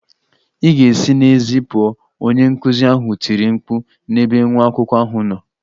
Ị ga-esi n'èzí pụọ! Onye nkuzi ahụ tiri mkpu n'ebe nwa akwụkwọ ahụ nọ.